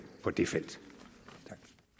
på det felt